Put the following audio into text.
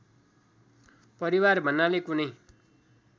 परिवार भन्नाले कुनै